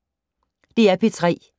DR P3